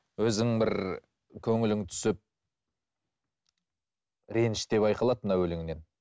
өзің бір көңілің түсіп реніш те байқалады мына өлеңнен